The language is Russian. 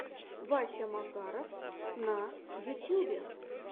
вася макаров на ютьюбе